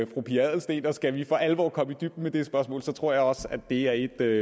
fru pia adelsteen og skal vi for alvor komme i dybden med det spørgsmål tror jeg også det er